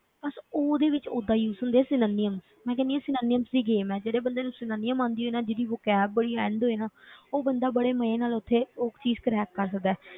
ਅੱਛਾ ਉਹਦੇ ਵਿੱਚ ਓਦਾਂ use ਹੁੰਦੇ ਆ synonym ਮੈਂ ਕਹਿੰਦੀ ਹਾਂ synonyms ਦੀ ਜਿਹੜੀ game ਹੈ ਜਿਹੜੇ ਬੰਦੇ ਨੂੰ synonym ਆਉਂਦੀ ਹੋਏ ਨਾ ਜਿਹਦੀ vocab ਬੜੀ end ਹੋਏ ਨਾ ਉਹ ਬੰਦਾ ਬੜੇ ਮਜ਼ੇ ਨਾਲ ਉੱਥੇ ਉਹ ਚੀਜ਼ crack ਕਰ ਸਕਦਾ ਹੈ,